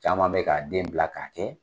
Caman bɛ k'a den bila k'a kɛ.